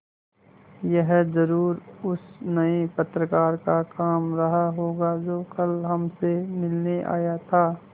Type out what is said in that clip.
यह ज़रूर उस नये पत्रकार का काम रहा होगा जो कल हमसे मिलने आया था